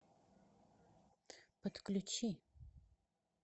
подключи